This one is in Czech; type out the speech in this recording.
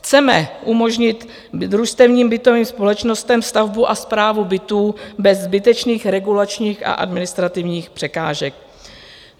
Chceme umožnit družstevním bytovým společnostem stavbu a správu bytů bez zbytečných regulačních a administrativních překážek.